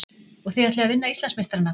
Og þið ætlið að vinna Íslandsmeistarana?